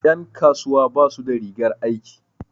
Ƴan kasuwa basu da rigar aiki.